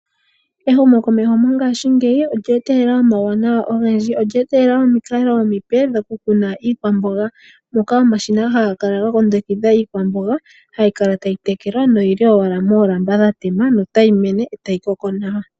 Ehumo komeho mongashingeyi olya etelela omawuwanawa ogendji. Olya etele nomikalo omipe dhoku kuna iikwamboga, moka omashina haga kala ga kundukidha iikwamboga hayi kala tayi tekelwa noyili owala moolamba dhatema no tayi mene etayi koko nawa.